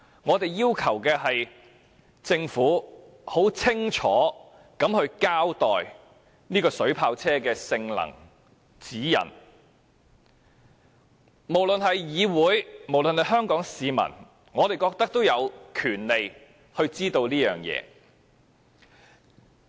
就是要求政府清楚交代水炮車的性能和指引，我們認為不論是議會或香港市民，均有權獲得這些資料。